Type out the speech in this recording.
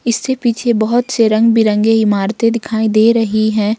इससे पीछे बहुत से रंग बिरंगे इमारते दिखाई दे रही हैं।